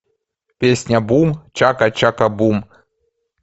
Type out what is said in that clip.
песня бум чака чака бум